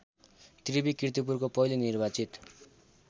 त्रिवि कीर्तिपुरको पहिलो निर्वाचित